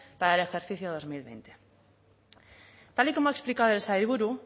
para el ejercicio dos mil veinte tal y como ha explicado el sailburu